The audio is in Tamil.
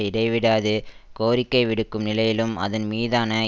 இடைவிடாது கோரிக்கைவிடுக்கும் நிலையிலும் அதன் மீதான